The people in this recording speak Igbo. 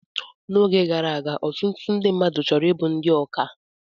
Oge gara aga, ọtụtụ mmadụ chọrọ ịbụ ndị ọkà